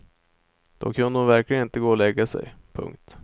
Då kunde hon verkligen inte gå och lägga sig. punkt